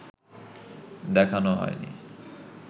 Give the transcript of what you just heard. দেখানো হয়নি